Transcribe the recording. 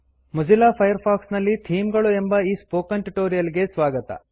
Mozilla Firefox ನಲ್ಲಿ theme ಗಳು ಎಂಬ ಈ ಸ್ಪೋಕನ್ ಟ್ಯುಟೋರಿಯಲ್ ಗೆ ಸ್ವಾಗತ